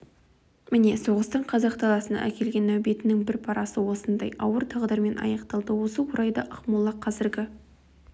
міне соғыстың қазақ даласына әкелген нәубетінің бір парасы осындай ауыр тағдырмен аяқталды осы орайда ақмола қазіргі